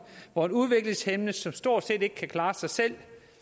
hvor en udviklingshæmmet som stort set ikke kan klare sig selv